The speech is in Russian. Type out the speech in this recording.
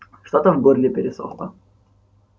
что-то в горле пересохло